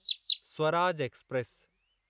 Swaraj express